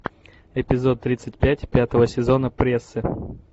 эпизод тридцать пять пятого сезона прессы